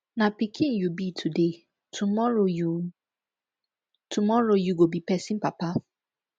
na pikin you be today tomorrow you tomorrow you go be pesin papa